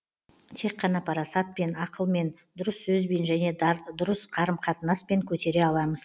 тек қана парасатпен ақылмен дұрыс сөзбен және дұрыс қарым қатынаспен көтере аламыз